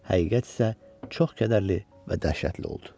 Həqiqət isə çox kədərli və dəhşətli oldu.